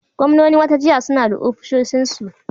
Gwamnonin wata jiha suna da ofisoshinsu.